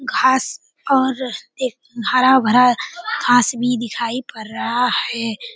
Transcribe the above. घास और एक हरा-भरा घास भी दिखाई पड़ रहा है।